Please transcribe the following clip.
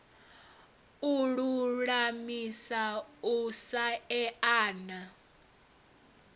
u lulamisa u sa eana